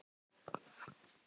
Elsku afi okkar er látinn.